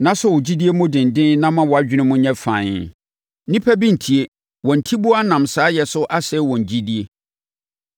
na sɔ wo gyidie mu denden na ma wʼadwene mu nyɛ fann. Nnipa bi ntie wɔn atiboa nam saayɛ so asɛe wɔn gyidie.